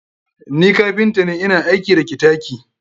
Ni kapinta ne, ina aiki da ktaki.